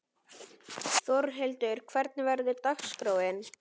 Þórhildur, hvernig verður dagskráin?